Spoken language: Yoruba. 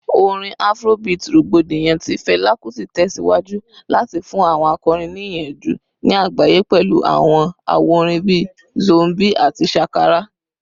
Orin Afrobeat rogbodiyan ti Fela Kuti tẹsiwaju lati fun awọn akọrin ni iyanju ni agbaye pẹlu awọn awo-orin bii “Zombie” ati “Shakara”